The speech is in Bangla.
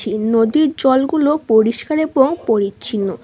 টি নদীর জলগুলো পরিষ্কার এবং পরিচ্ছিন্ন ।